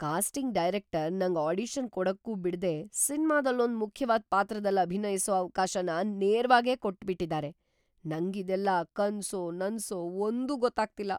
Casting director ನಂಗ್‌ audition ಕೊಡಕ್ಕೂ ಬಿಡ್ದೇ ಸಿನ್ಮಾದಲ್ಲೊಂದ್‌ ಮುಖ್ಯವಾದ್‌ ಪಾತ್ರದಲ್ಲ್‌ ಅಭಿನಯ್ಸೋ ಅವ್ಕಾಶನ ನೇರವಾಗೇ ಕೊಟ್ಬಿಟಿದಾರೆ! ನಂಗಿದೆಲ್ಲ ಕನ್ಸೋ ನನ್ಸೋ ಒಂದೂ ಗೊತ್ತಾಗ್ತಿಲ್ಲ!